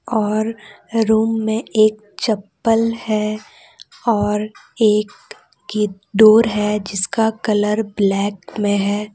और रूम में एक चप्पल है और एक कि डोर है जिसका कलर ब्लैक में है।